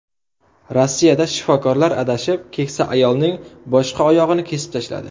Rossiyada shifokorlar adashib, keksa ayolning boshqa oyog‘ini kesib tashladi.